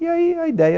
E aí a ideia